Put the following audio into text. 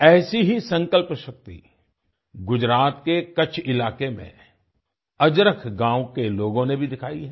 ऐसी ही संकल्प शक्ति गुजरात के कच्छ इलाके में अजरक गाँव के लोगों ने भी दिखाई है